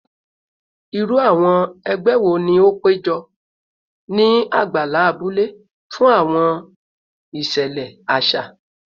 Iru awọn ẹgbẹ wo ni o pejọ ni agbala abule fun awọn iṣẹlẹ aṣa?